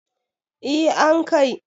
eh an Kai